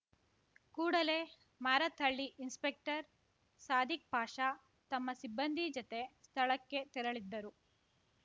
ಕೂಡಲೇ ಮಾರತ್‌ಹಳ್ಳಿ ಇನ್ಸ್‌ಪೆಕ್ಟರ್ ಸಾದಿಕ್‌ ಪಾಷಾ ತಮ್ಮ ಸಿಬ್ಬಂದಿ ಜತೆ ಸ್ಥಳಕ್ಕೆ ತೆರಳಿದ್ದರು